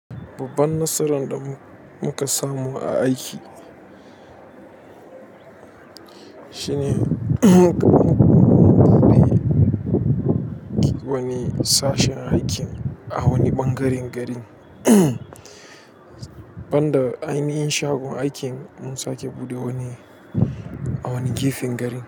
Babban nasaran da muka samu a aiki shine da muka buɗe wani sashin aikin a wani ɓangaren gari. Banda ainihin shagon aikin mun sake buɗe wani a wani gefen garin.